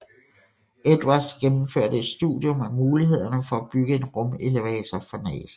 Edwards gennemførte et studium af mulighederne for at bygge en rumelevator for NASA